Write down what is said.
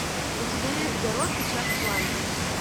у тебя есть гаро печать пламени